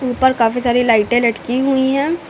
ऊपर काफी सारी लाइटे लड़की हुई है।